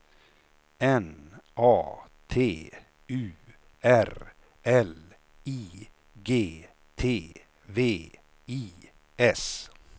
N A T U R L I G T V I S